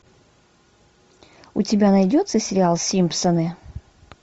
у тебя найдется сериал симпсоны